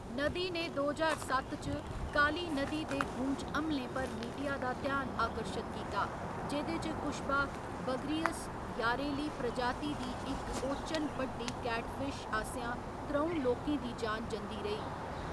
नदी ने दो ज्हार सत्त च काली नदी दे गूँच हमलें पर मीडिया दा ध्यान आकर्शत कीता, जेह्‌‌‌दे च कुश्बा बगरियस यारेली प्रजाति दी इक ओचन बड्डी कैटफिश आसेआं त्र'ऊं लोकें दी जान जंदी रेही।